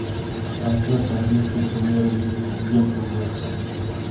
трансляция английской премьер лиги саутгемптон вест хэм